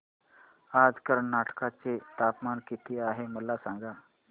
आज कर्नाटक चे तापमान किती आहे मला सांगा